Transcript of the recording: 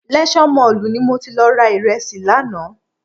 Leisure Mall ni mo ti lọ ra ìrẹsì lánàá